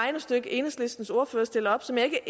regnestykke enhedslistens ordfører stiller op som jeg ikke er